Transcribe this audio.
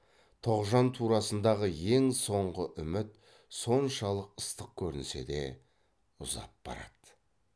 тоғжан турасындағы ең соңғы үміт соншалық ыстық көрінсе де ұзап барады